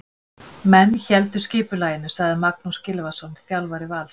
Menn héldu skipulaginu, sagði Magnús Gylfason, þjálfari Vals.